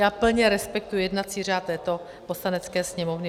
Já plně respektuji jednací řád této Poslanecké sněmovny.